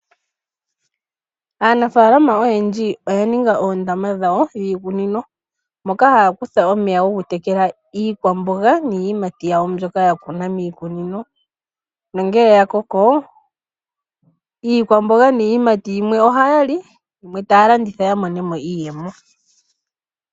Aanafalama oyendji oya ninga oondama dhawo dhiikunino moka haya kutha omeya gokutekela iikwamboga niiyimati mbyoka ya kuna miikunino nongele ya koko iikwamboga niiyimati yimwe ohaya li yimwe taya landitha ya monemo iiyemo.